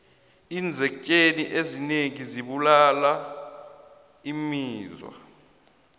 iinzektjheni ezinengi zibulala imizwa